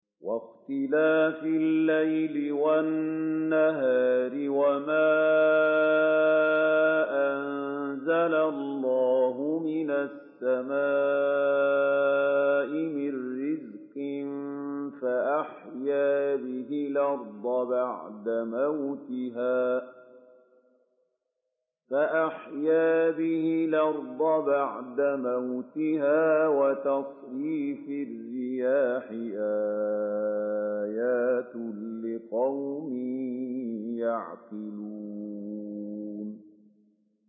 وَاخْتِلَافِ اللَّيْلِ وَالنَّهَارِ وَمَا أَنزَلَ اللَّهُ مِنَ السَّمَاءِ مِن رِّزْقٍ فَأَحْيَا بِهِ الْأَرْضَ بَعْدَ مَوْتِهَا وَتَصْرِيفِ الرِّيَاحِ آيَاتٌ لِّقَوْمٍ يَعْقِلُونَ